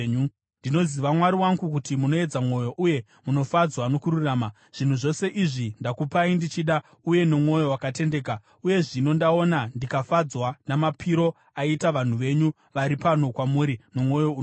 Ndinoziva, Mwari wangu, kuti munoedza mwoyo uye munofadzwa nokururama. Zvinhu zvose izvi ndakupai ndichida uye nomwoyo wakatendeka. Uye zvino ndaona ndikafadzwa namapiro aita vanhu venyu vari pano kwamuri nomwoyo unoda.